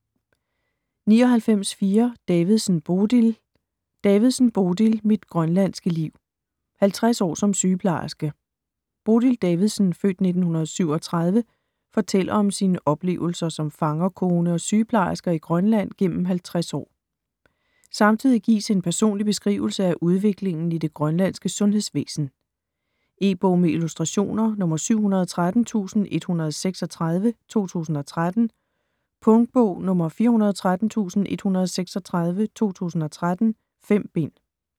99.4 Davidsen, Bodil Davidsen, Bodil: Mit grønlandske liv: 50 år som sygeplejerske Bodil Davidsen (f. 1937) fortæller om sine oplevelser som fangerkone og sygeplejerske i Grønland igennem 50 år. Samtidig gives en personlig beskrivelse af udviklingen i det grønlandske sundhedsvæsen. E-bog med illustrationer 713136 2013. Punktbog 413136 2013. 5 bind.